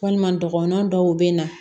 Walima dɔgɔnɔn dɔw bɛ na